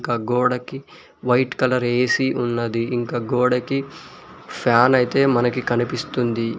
ఆ గోడకి white colour AC ఉన్నది ఇంకా గోడకి ఫ్యాన్ అయితే మనకి కనిపిస్తుంది.